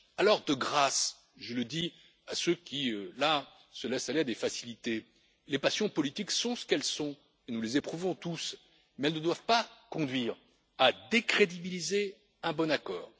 Alors de grâce je le dis à ceux qui se laissent aller à des facilités les passions politiques sont ce qu'elles sont, et nous les éprouvons tous, mais elles ne doivent pas conduire à décrédibiliser un bon accord.